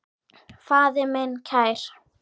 Faðir minn kær.